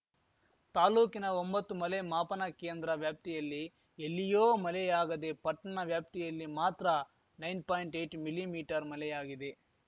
ತಾಲೂಕಿನ ಒಂಬತ್ತು ಮಲೆ ಮಾಪನ ಕೇಂದ್ರ ವ್ಯಾಪ್ತಿಯಲ್ಲಿ ಎಲ್ಲಿಯೋ ಮಲೆಯಾಗದೆ ಪಟ್ಟಣ ವ್ಯಾಪ್ತಿಯಲ್ಲಿ ಮಾತ್ರ ನೈನ್ ಪಾಯಿಂಟ್ಏಯ್ಟ್ ಮೀಲಿಮೀಟರ್ ಮಲೆಯಾಗಿದೆ